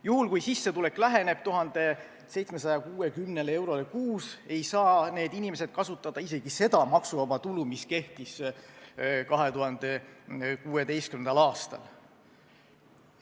Juhul, kui sissetulek läheneb 1760 eurole kuus, ei saa need inimesed kasutada isegi seda maksuvaba tulu, mis kehtis 2016. aastal.